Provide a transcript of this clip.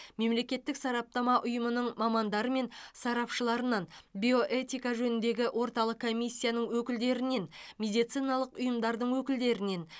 мемлекеттік сараптама ұйымының мамандары мен сарапшыларынан биоэтика жөніндегі орталық комиссияның өкілдерінен медициналық ұйымдардың өкілдерінен